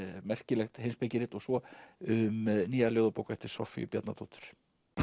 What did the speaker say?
merkilegt heimspekirit og svo um nýja ljóðabók eftir Soffíu Bjarnadóttur